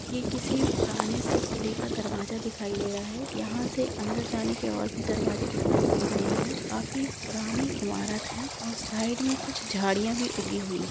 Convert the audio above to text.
ये किसी पुराने से किले का दरवाजा दिखाई दे रहा है | यहा से अंदर जाने का और भी दरवाजे दिखाई दे रहे है काफी पुरानी इमारत है |और साइड मे कुछ झरिया भी उगी हुई है ।